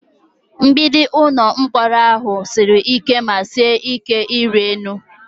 Mgbidi ụlọ mkpọrọ ahụ siri ike ma sie ike ịrị elu?